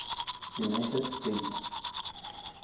united states